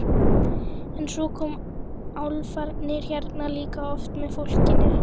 En svo koma álfarnir hérna líka oft með fólki.